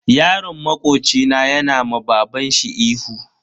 Yaron makoci na yana ma babanshi ihu.